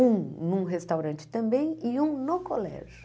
Um num restaurante também e um no colégio.